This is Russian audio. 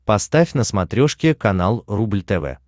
поставь на смотрешке канал рубль тв